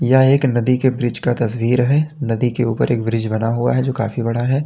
यह एक नदी के ब्रिज का तस्वीर है नदी के ऊपर एक ब्रिज बना हुआ है जो काफी बड़ा है।